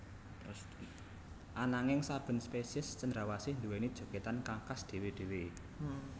Ananging saben spesiés cendrawasih nduwèni jogètan kang khas dhéwé dhéwé